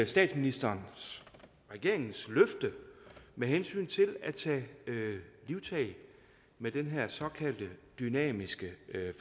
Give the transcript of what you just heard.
statsministerens regeringens løfte med hensyn til at tage livtag med den her såkaldte dynamiske